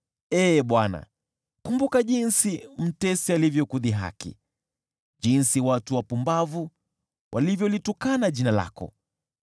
Ee Bwana , kumbuka jinsi mtesi alivyokudhihaki, jinsi watu wapumbavu walivyolitukana jina lako.